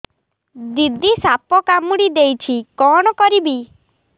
ଦିଦି ସାପ କାମୁଡି ଦେଇଛି କଣ କରିବି